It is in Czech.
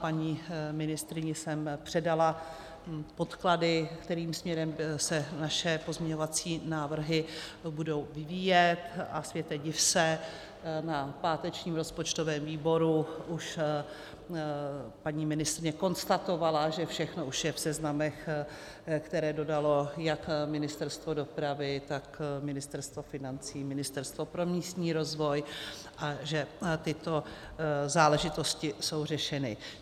Paní ministryni jsem předala podklady, kterým směrem se naše pozměňovací návrhy budou vyvíjet, a světe div se, na pátečním rozpočtovém výboru už paní ministryně konstatovala, že všechno už je v seznamech, které dodalo jak Ministerstvo dopravy, tak Ministerstvo financí, Ministerstvo pro místní rozvoj, a že tyto záležitosti jsou řešeny.